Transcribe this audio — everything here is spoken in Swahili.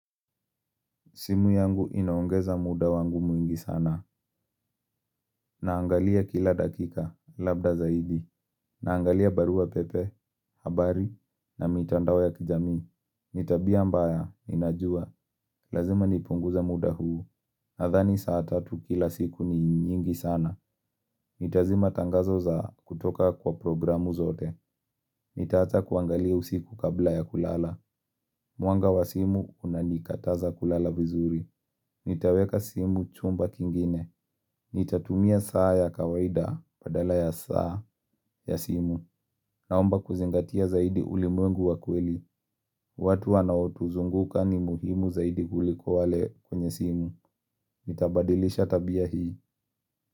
Simu yangu inaongeza muda wangu mwingi sana. Naangalia kila dakika, labda zaidi. Naangalia barua pepe, habari, na mitandao ya kijamii. Ni tabia mbaya, ninajua. Lazima nipunguza muda huu. Nadhani saa tatu kila siku ni nyingi sana. Nitazima tangazo za kutoka kwa programu zote. Nitaacha kuangalia usiku kabla ya kulala. Mwanga wa simu, unanikataza kulala vizuri. Nitaweka simu chumba kingine. Nitatumia saa ya kawaida badala ya saa ya simu. Naomba kuzingatia zaidi ulimwengu wa kweli. Watu wanaotuzunguka ni muhimu zaidi kuliko wale kwenye simu. Nitabadilisha tabia hii.